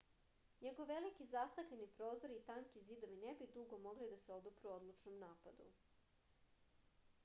njegovi veliki zastakljeni prozori i tanki zidovi ne bi dugo mogli da se odupru odlučnom napadu